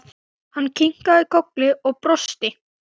Hann kinkaði kolli og brosti.